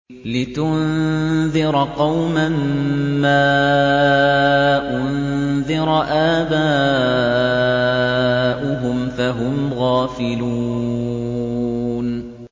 لِتُنذِرَ قَوْمًا مَّا أُنذِرَ آبَاؤُهُمْ فَهُمْ غَافِلُونَ